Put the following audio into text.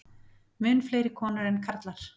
Mun fleiri konur en karlar.